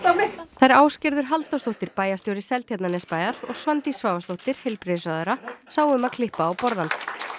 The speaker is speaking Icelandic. þær Ásgerður Halldórsdóttir bæjarstjóri Seltjarnarnesbæjar og Svandís Svavarsdóttir heilbrigðisráðherra sáu um að klippa á borðann